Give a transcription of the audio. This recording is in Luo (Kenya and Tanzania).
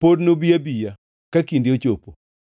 pod nobi abiya, ka kinde ochopo.